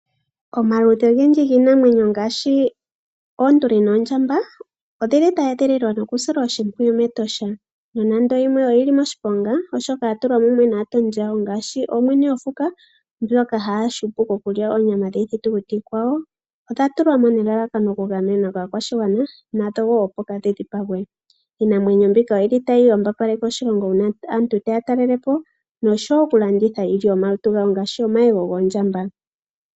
Omaludhi ogendji giinamwenyo ngaashi oonduli noondjamba odhili dha edhililwa noku silwa oshimpwiyu mEtosha. Nando yimwe oyili moshiponga oshoka yatulwa mumwe naatondi yawo ngaashi mwene gokuti ngoka ha hupu koku lya onyama yiiyamakuti iikwawo odha tulwa mo nelalakano oku gamenwa yaakwashigwana nadho wo opo kaadhi dhipagwe. Iinamwenyo mbika oyili tayi yambapaleke oshilongo oshoka una aantu taya talelepo noshowo oku landitha iilyo yomalutu gawo ngaashi omayego goondjamba.